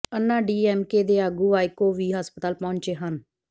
ਅੰਨਾ D M K ਦੇ ਆਗੂ ਵਾਈਕੋ ਵੀ ਹਸਪਤਾਲ ਪਹੁੰਚੇ ਹਨ